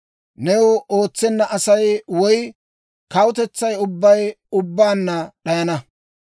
New ootsenna Asay woy kawutetsay ubbay ubbaanna d'ayana.